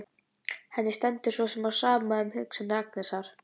Henni stendur svo sem á sama um hugsanir Agnesar.